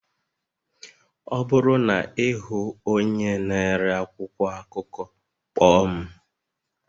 Ọ bụrụ na ị hụ onye na-ere akwụkwọ akụkọ, kpọọ m